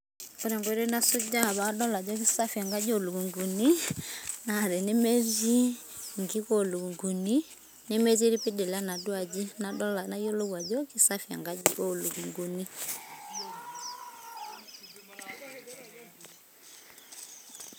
Ore enkoitoi nasujaa padol ajo kisafi enkaji olukunguni, na tenemetii inkikolunguni, nemetii irpidila enaduo aji. Nayiolou ajo kisafi enkaji olukunkuni.